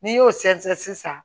N'i y'o sɛnsɛn sisan